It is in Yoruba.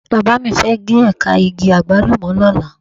Bàbá mi fẹ́ gé ẹ̀ka igi Àgbálùmọ̀ lọ́la.